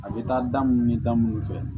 A bɛ taa da munnu ni da munnu fɛ